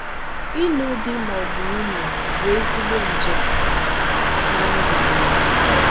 Ịlụ di ma ọ bụ nwunye bụ ezìgbo njem n’ndù̀ mmadụ.